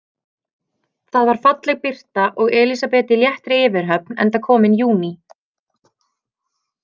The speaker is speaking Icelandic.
Það var falleg birta og Elísabet í léttri yfirhöfn enda kominn júní.